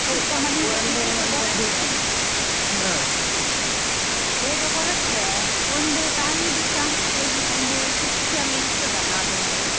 ಸ್ವಲ್ಪ ಬೇಗ ಹೊರಟ್ರೆ ಒಂದು time ದುಸಾ ಒಂದು ಶಿಸ್ತಲ್ಲಿ ಇರ್ತದಲ್ಲ ಅದೊಂದು.